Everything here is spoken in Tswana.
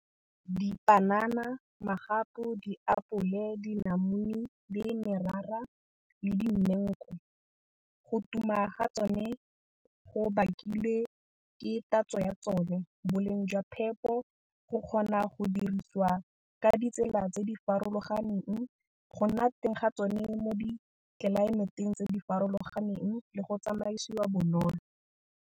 Dipanana, magapu, diapole, dinamune, le merara le dimengu, go tuma ga tsone go bakilwe ke tatso ya tsone, boleng jwa phepo, go kgona go dirisiwa ka ditsela tse di farologaneng, go nna teng ga tsone mo ditlelaemeteng tse di farologaneng le go tsamaisiwa bonolo.